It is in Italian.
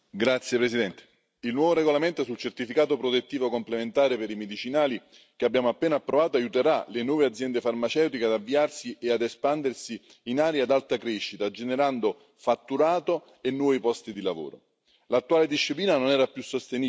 Signor Presidente, onorevoli colleghi, il nuovo regolamento sul certificato protettivo complementare per i medicinali, che abbiamo appena approvato, aiuterà le nuove aziende farmaceutiche ad avviarsi e ad espandersi in aree ad alta crescita, generando fatturato e nuovi posti di lavoro.